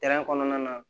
kɔnɔna na